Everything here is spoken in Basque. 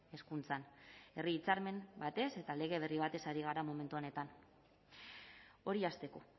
hezkuntzan herri hitzarmen batez eta lege berri batez ari gara momentu honetan hori hasteko